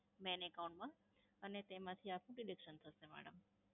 main account માં અને તેમાંથી આપનું deduction થશે madam.